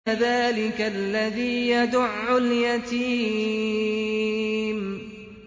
فَذَٰلِكَ الَّذِي يَدُعُّ الْيَتِيمَ